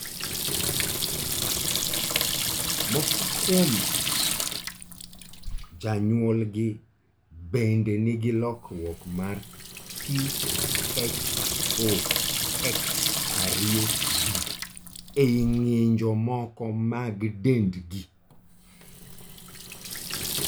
Moko kuom janyuolgi bende nigi lokruok mar PHOX2B ei ng'injo moko mag dendgi.